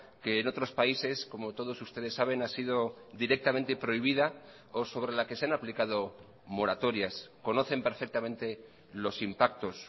que en otros países como todos ustedes saben ha sido directamente prohibida o sobre la que se han aplicado moratorias conocen perfectamente los impactos